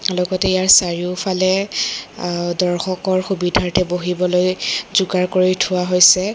লগতে ইয়াৰ চাৰিওফালে আহ দৰ্শকৰ সুবিধাৰ্থে বহিবলৈ যোগাৰ কৰি থোৱা হৈছে।